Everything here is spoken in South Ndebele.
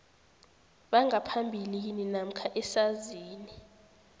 bangaphambilini namkha esazini